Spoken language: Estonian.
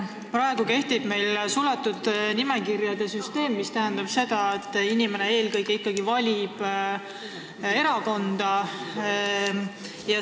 Praegu kehtib meil suletud nimekirjade süsteem, mis tähendab seda, et inimene valib eelkõige ikkagi erakonda.